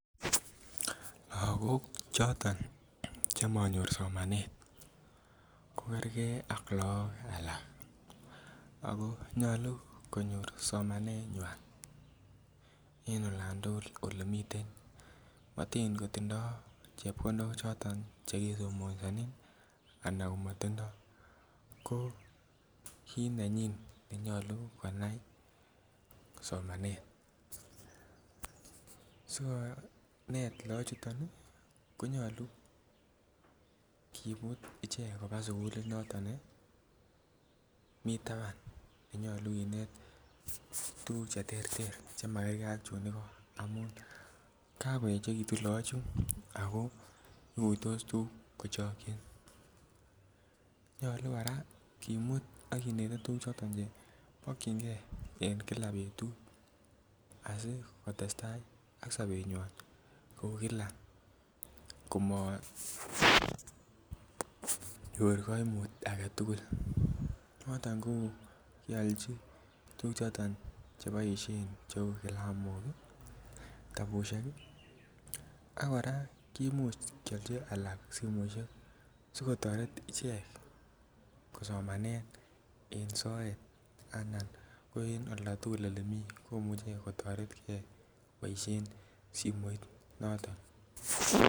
Lagok choton chemonyor somanet kokergee ak look alak ako nyolu konyor somanet nywan en olan tugul olemiten matin kotindoo chepkondok choton chekisomesonen ana komotindoo ko kit nenyin nenyolu konai somanet so inet look chuton ih konyolu kimut ichek koba sugulit noton mi taban nenyolu kinet tuguk cheterter chemakergee ak chun igo amun kakoechekitun look chu ako ikuitos tuguk kochokyin nyolu kora kimut ak kinete tuguk choton chemokyingee en kila betut asikotestaa ak sobetnywan kou kila komonyor koimut aketugul noton ko kiolji tuguk choton cheu kilamok ih kitabusiek ih ak kora kimuch kiolji alak simoisiek sikotoret ichek kosomanen en soet anan ko en olda tugul elemii komuche kotoretgee koboisien simoit noton